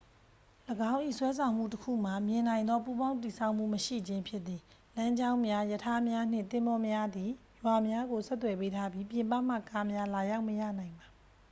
၎င်း၏ ဆွဲဆောင်မှုတစ်ခုမှာ မြင်နိုင်သော ပူးပေါင်းတည်ဆောက်မှု မရှိခြင်းဖြစ်သည် လမ်းကြောင်းများ ရထားများနှင့် သင်္ဘောများသည် ရွာများကို ဆက်သွယ်ပေးထားပြီး ပြင်ပမှ ကားများလာရောက်မရနိုင်ပါ